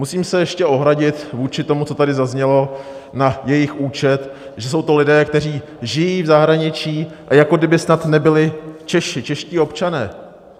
Musím se ještě ohradit vůči tomu, co tady zaznělo na jejich účet, že jsou to lidé, kteří žijí v zahraničí a jako kdyby snad nebyli Češi, čeští občané.